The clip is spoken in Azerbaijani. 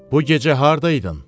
Bu gecə hardaydın?